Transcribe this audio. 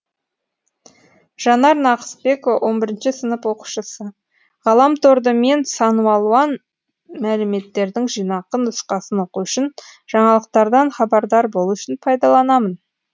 жанар нақысбекова он бірінші сынып оқушысы ғаламторды мен саналуан мәліметтердің жинақы нұсқасын оқу үшін жаңалықтардан хабардар болу үшін пайдаланамын